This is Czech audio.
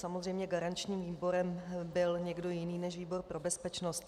Samozřejmě garančním výborem byl někdo jiný než výbor pro bezpečnost.